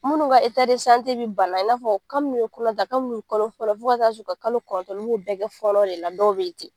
Munnu ka be bana, i n'a fɔ kabini u ye kɔnɔ ta, kabini u kalo fɔlɔ fo ka taa se u ka kalo kɔlɔntɔn n'u y'o bɛɛ kɛ fɔɔnɔ de la dɔw be ten.